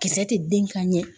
Kisɛ tɛ den ka ɲɛ